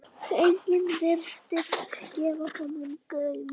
Enginn virtist gefa honum gaum.